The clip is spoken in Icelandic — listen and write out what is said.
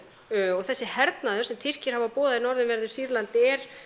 og þessi hernaður sem Tyrkir hafa boðað í norðanverðu Sýrlandi er